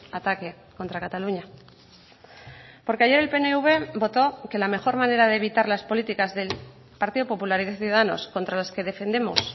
ataque contra cataluña porque ayer el pnv votó que la mejor manera de evitar las políticas del partido popular y de ciudadanos contra las que defendemos